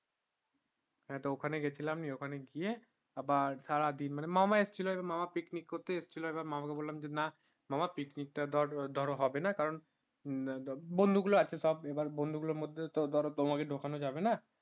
হ্যাঁ তো ওখানে গেছিলাম নিয়ে ওখানে গিয়ে আবার সারাদিন মানে মামা আসছিলো মানে মামা picnic করতে আসছিলো আবার মামাকে বললাম যে না মামা picnic তা ধরো হবেনা বন্ধু গুলো আছে সব আবার বন্ধু গুলোর মধ্যে তো ধরো তোমাকে ঢোকানো যাবেনা